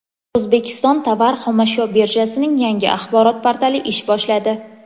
O‘zbekiston tovar-xomashyo birjasining yangi axborot portali ish boshladi.